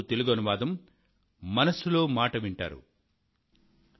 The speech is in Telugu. ఇప్పుడు వేసవి కాలం